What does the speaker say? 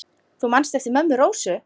Þú manst eftir mömmu Rósu?